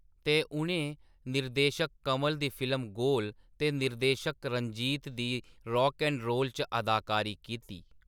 ते, उ’नें निर्देशक कमल दी फिल्म गोल ते निर्देशक रंजीत दी रॉक ऐंड रोल च अदाकारी कीती।